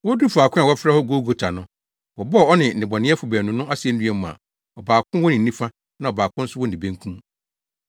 Woduu faako a wɔfrɛ hɔ Golgota no, wɔbɔɔ ɔne nnebɔneyɛfo baanu no asennua mu a ɔbaako wɔ ne nifa na ɔbaako nso wɔ ne benkum.